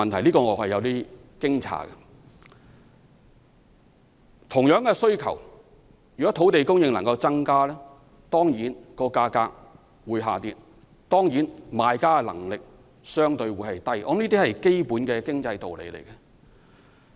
在同樣的需求下，若能增加土地供應，價格當然會下跌，賣家的能力會相對低，這是基本的經濟道理。